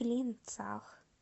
клинцах